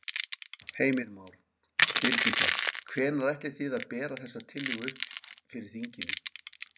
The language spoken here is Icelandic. Heimir Már: Birgitta, hvenær ætlið þið að bera þessa tillögu upp fyrir þinginu?